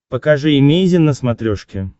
покажи эмейзин на смотрешке